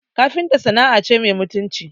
Kafinta sana'a ce mai mutunci